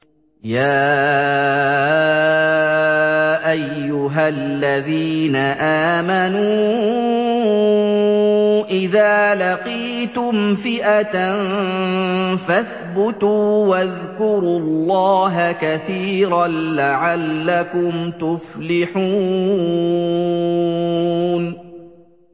يَا أَيُّهَا الَّذِينَ آمَنُوا إِذَا لَقِيتُمْ فِئَةً فَاثْبُتُوا وَاذْكُرُوا اللَّهَ كَثِيرًا لَّعَلَّكُمْ تُفْلِحُونَ